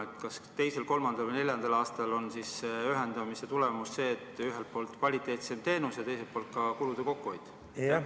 Kas sa oskad öelda, kas teisel, kolmandal või neljandal aastal on ühendamise tulemus see, et ühelt poolt on kvaliteetsem teenus ja teiselt poolt ka kulude kokkuhoid?